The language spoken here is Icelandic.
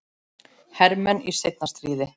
hermenn í seinna stríði.